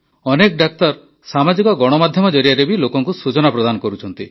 ଅନେକ ଡାକ୍ତର ସାମାଜିକ ଗଣମାଧ୍ୟମ ଜରିଆରେ ଲୋକଙ୍କୁ ସୂଚନା ପ୍ରଦାନ କରୁଛନ୍ତି